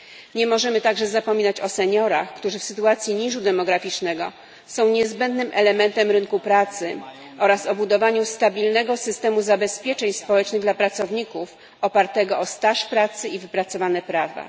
Nie możemy także zapominać o seniorach, którzy w sytuacji niżu demograficznego są niezbędnym elementem rynku pracy, oraz o budowaniu stabilnego systemu zabezpieczeń społecznych dla pracowników, opartego o staż pracy i wypracowane prawa.